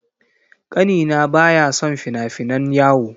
Ƙanina baya son fina-finan yawo.